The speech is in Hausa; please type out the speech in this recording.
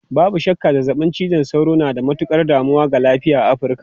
Babu shakka, zazzabin cizon sauro na da matukar damuwa ga lafiya a Afirka.